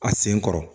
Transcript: A sen kɔrɔ